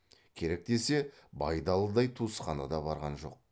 керек десе байдалыдай туысқаны да барған жоқ